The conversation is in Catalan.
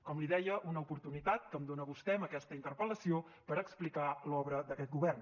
com li deia una oportunitat que em dona vostè amb aquesta interpel·lació per explicar l’obra d’aquest govern